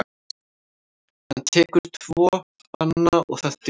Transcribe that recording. Hann tekur tvo banana og það dugir.